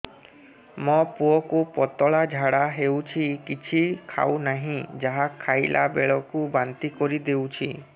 ମୋ ପୁଅ କୁ ପତଳା ଝାଡ଼ା ହେଉଛି କିଛି ଖାଉ ନାହିଁ ଯାହା ଖାଇଲାବେଳକୁ ବାନ୍ତି କରି ଦେଉଛି